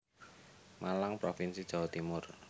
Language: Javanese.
Malang Provinsi Jawa Timur